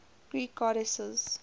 greek goddesses